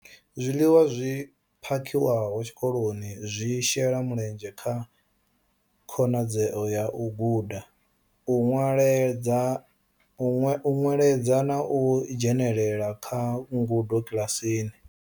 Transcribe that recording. Zwiḽiwa zwi phakhiwaho tshikoloni zwi shela mulenzhe kha khonadzeo ya u guda, u nweledza na u dzhenela kha ngudo kiḽasini.